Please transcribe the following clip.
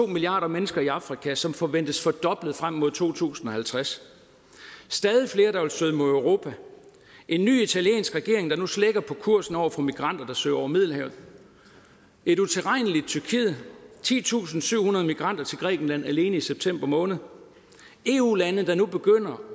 milliarder mennesker i afrika som forventes fordoblet frem mod to tusind og halvtreds stadig flere der vil søge mod europa en ny italiensk regering der nu slækker på kursen over for migranter der søger over middelhavet et utilregneligt tyrkiet titusinde og syvhundrede migranter til grækenland alene i september måned eu lande der nu begynder